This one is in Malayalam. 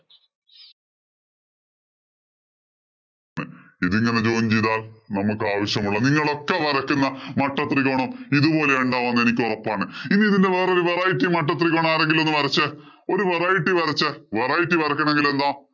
ഇതിങ്ങനെ join ചെയ്താല്‍ നമുക്കാവശ്യമുള്ള നിങ്ങളൊക്കെ വരയ്ക്കുന്ന മട്ടത്രികോണം ഇതുപോലെയുണ്ടാവൂന്ന് എനിക്ക് ഒറപ്പാണ്. ഇനി ഇതിന്‍റെ വേറൊരു variety മട്ടത്രികോണം ആരെങ്കിലും ഒന്നു വരച്ചേ. ഒരു variety വരച്ചേ. variety വരയ്ക്കണമെങ്കില്‍ എന്താ